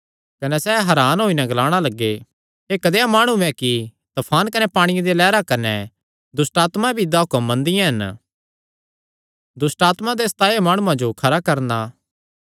कने सैह़ हरान होई नैं ग्लाणा लग्गे एह़ कदेया माणु ऐ कि तफान कने पांणिये दियां लैहरां कने दुष्टआत्मां भी इसदा हुक्म मनदियां हन